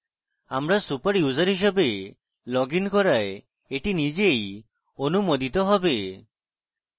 আমরা super user হিসেবে log in করায় এই নিজেই অনুমোদিত হবে